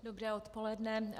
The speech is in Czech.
Dobré odpoledne.